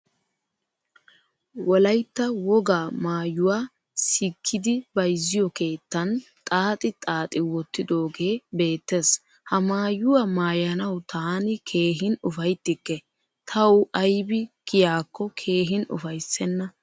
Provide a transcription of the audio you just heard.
Wolaytta wogaa maayuwaa siikidi bayzziyo keettan xaaxi xaaxi woottidoge beetees. Ha maayuwaa maayanawu taani keehin ufayttikke. Twu aybi kiyakko keehin ufaysena.